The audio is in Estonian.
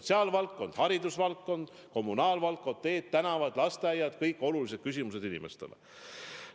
Sotsiaalvaldkond, haridusvaldkond, kommunaalvaldkond, teed-tänavad, lasteaiad – kõik olulised küsimused inimestele.